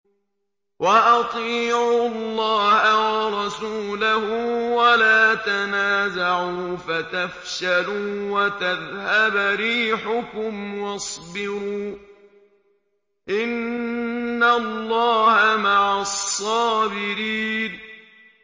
وَأَطِيعُوا اللَّهَ وَرَسُولَهُ وَلَا تَنَازَعُوا فَتَفْشَلُوا وَتَذْهَبَ رِيحُكُمْ ۖ وَاصْبِرُوا ۚ إِنَّ اللَّهَ مَعَ الصَّابِرِينَ